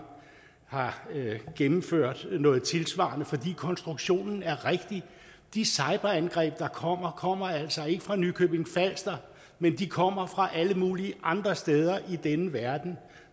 gennemført noget tilsvarende for konstruktionen er rigtig de cyberangreb der kommer kommer altså ikke fra nykøbing falster men de kommer fra alle mulige andre steder i denne verden